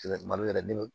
malo yɛrɛ di